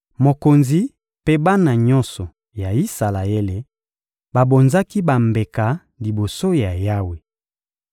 Mokonzi mpe bana nyonso ya Isalaele babonzaki bambeka liboso ya Yawe.